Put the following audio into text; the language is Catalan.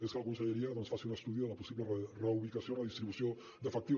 és que la conselleria doncs faci un estudi de la possible reubicació o redistribució d’efectius